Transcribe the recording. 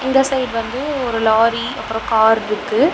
இந்த சைடு வந்து ஒரு லாரி அப்றோம் கார்ருக்கு .